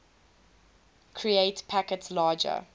create packets larger